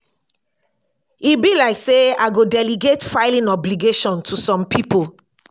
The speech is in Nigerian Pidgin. e be like say i go delegate filling obligation to some people